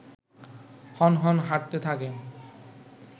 হনহন হাঁটতে থাকেন